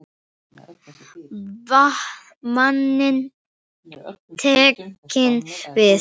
Vaninn tekinn við.